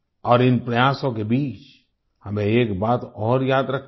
और इन प्रयासों के बीच हमें एक बात और याद रखनी है